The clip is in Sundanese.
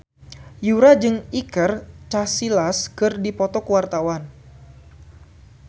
Yura jeung Iker Casillas keur dipoto ku wartawan